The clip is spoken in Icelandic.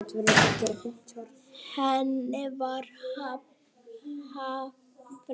Henni var hafnað.